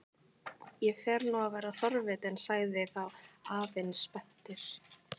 Ég fer nú að verða forvitinn sagði þá afinn spenntur.